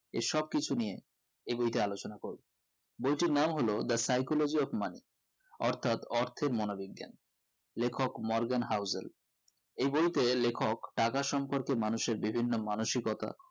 এই সব কিছু নিয়ে এই বইটি আলোচনা করবো বইটির নাম হলো the psychology of money অথার্ৎ অর্থের মনো বিজ্ঞান লেখক Morgan Housel এই বইতে লেখক টাকার সম্পর্কে মানুষের বিভিন্ন মানসিকতা